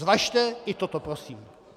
Zvažte i toto prosím.